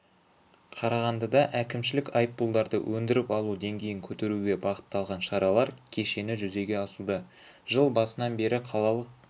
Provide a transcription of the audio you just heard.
қарағандыда әкімшілік айыппұлдарды өндіріп алу деңгейін көтеруге бағытталған шаралар кешені жүзеге асуда жыл басынан бері қалалық